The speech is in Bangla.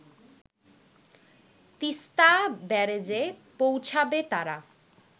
তিস্তা ব্যারেজে পৌঁছাবে তারা